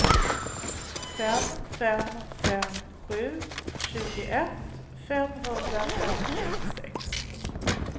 fem fem fem sju tjugoett femhundrafemtiosex